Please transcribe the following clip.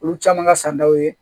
Olu caman ka san daw ye